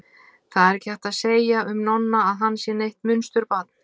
Það er ekki hægt að segja um Nonna að hann sé neitt munsturbarn.